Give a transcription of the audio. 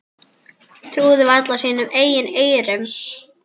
Trúðu varla sínum eigin eyrum.